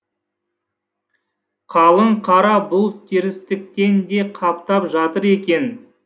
қалың қара бұлт терістіктен де қаптап жатыр екен